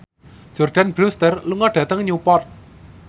Jordana Brewster lunga dhateng Newport